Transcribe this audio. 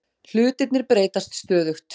Hlutirnir breytast stöðugt